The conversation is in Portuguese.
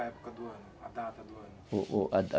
época do A data do ano?